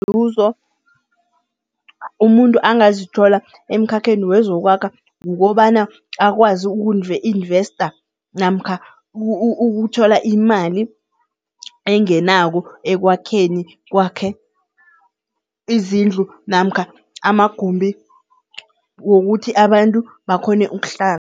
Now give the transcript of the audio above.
Inzuzo, umuntu angazithola emkhakheni wezokwakha kukobana akwazi uku-investor namkha ukuthola imali engenako ekwakheni kwakhe izindlu namkha amagumbi wokuthi abantu bakghone ukuhlala.